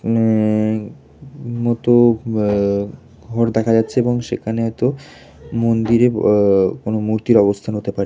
উ-ম-ম মতো ঘ-র দেখা যাচ্ছে এবং সেখানে হয়তো মন্দিরে- এ কোন মূর্তির আবস্থান হতে পারে।